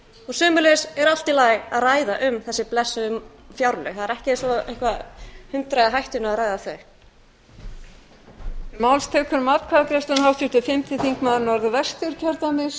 sömuleiðis er allt í lagi að ræða um þessi blessuðu fjárlög það er ekki eins og það sé hundrað í hættunni að ræða þau